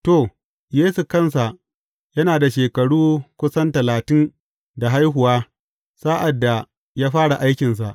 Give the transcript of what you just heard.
To, Yesu kansa yana da shekaru kusan talatin da haihuwa sa’ad da ya fara aikinsa.